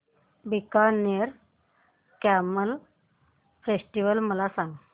Bikaner camel festival मला सांग